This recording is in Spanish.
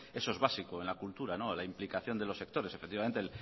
eso es básico en la cultura la implicación de los sectores efectivamente